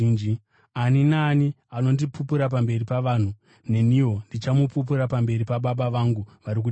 “Ani naani anondipupura pamberi pavanhu neniwo ndichamupupura pamberi paBaba vangu vari kudenga.